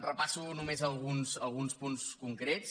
repasso només alguns punts concrets